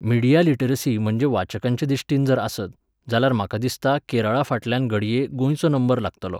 Media literacy म्हणजे वाचकांचे दिश्टीन जर आसत, जाल्यार म्हाका दिसता केरळाफाटल्यान घडये गोंयचो नंबर लागतलो.